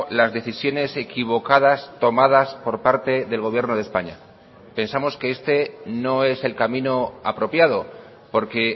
las decisiones equivocadas tomadas por parte del gobierno de españa pensamos que este no es el camino apropiado porque